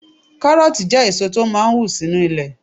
Kárọ̀ọ̀tì jẹ́ èso tó máà ń wù sínu ilẹ̀